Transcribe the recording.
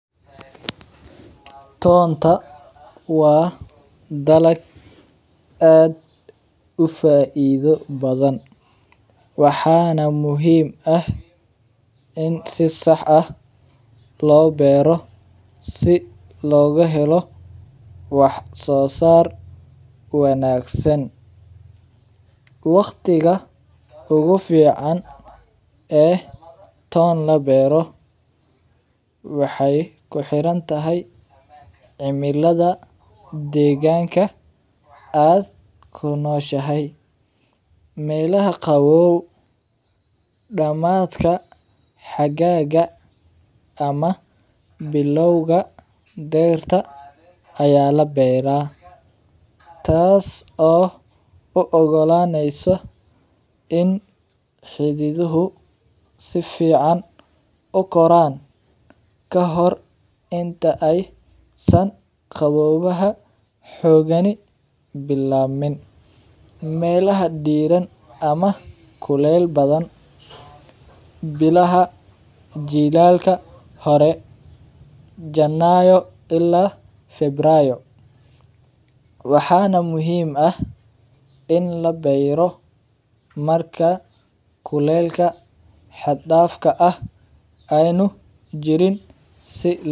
Tonta waa dalag aad ufaidho badan waxana muhiim ah in si sax ah lo beero si loga helo wax sosar wanagsan waqtiga ugu fican ee ton labero waxee ku xirantahay cimilaada deganka aad ku noshahay meelaha qawow damaadka xagaga ama bilawga deerta aya labeera tas oo u ogo laneysa in xididuhu sifican u koran lahore inta ee san qawowaha xogani bilamanin, melaha diran ama kulel badan bilaha jilalka hore janayo ila ferayo waxana muhiim ah in la beero marka kulelka xagdafka ah ana u san jirin.